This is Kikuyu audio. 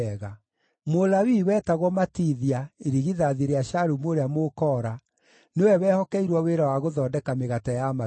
Mũlawii wetagwo Matithia, irigithathi rĩa Shalumu ũrĩa Mũkoora, nĩwe wehokeirwo wĩra wa gũthondeka mĩgate ya maruta.